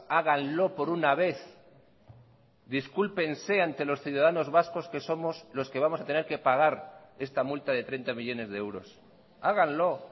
háganlo por una vez discúlpense ante los ciudadanos vascos que somos los que vamos a tener que pagar esta multa de treinta millónes de euros háganlo